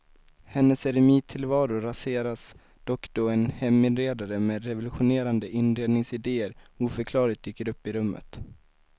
Hennes eremittillvaro raseras dock då en heminredare med revolutionerande inredningsidéer oförklarligt dyker upp i rummet.